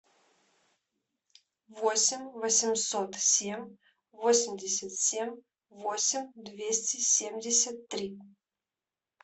восемь восемьсот семь восемьдесят семь восемь двести семьдесят три